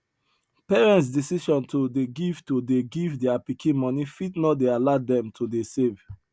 parents decision to dey give to dey give their pikin money fit no dey allow them to dey save